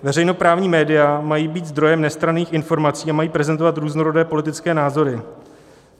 Veřejnoprávní média mají být zdrojem nestranných informací a mají prezentovat různorodé politické názory.